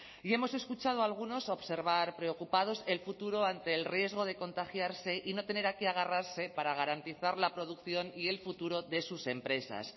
y hemos escuchado a algunos observar preocupados el futuro ante el riesgo de contagiarse y no tener a qué agarrarse para garantizar la producción y el futuro de sus empresas